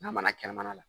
N'a mana kɛnɛmana la